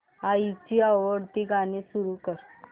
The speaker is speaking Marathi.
आईची आवडती गाणी सुरू कर